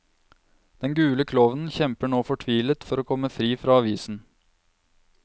Den gule klovnen kjemper nå fortvilet for å komme fri fra avisen.